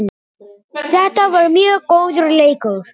Þetta var mjög góður leikur